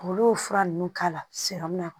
Olu fura ninnu k'a lasɔrɔ a